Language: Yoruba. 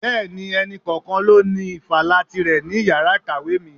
Bẹẹni, ẹni kọ̀ọ̀kan ló ní ifala tire ní iyàrá kàwé mi.